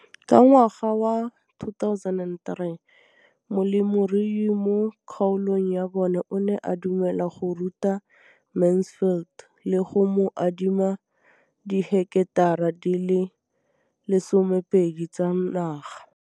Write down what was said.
Ka ngwaga wa 2013, molemirui mo kgaolong ya bona o ne a dumela go ruta Mansfield le go mo adima di heketara di le 12 tsa naga.